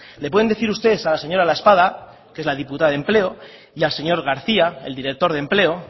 le pueden decir ustedes a la señora laespada que es la diputada de empleo y al señor garcía el director de empleo